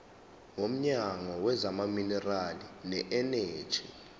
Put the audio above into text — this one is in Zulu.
womnyango wezamaminerali neeneji